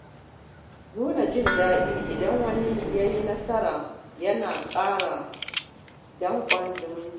Nuna jin daɗi idan wani ya yi nasara yana ƙara danƙon zumunci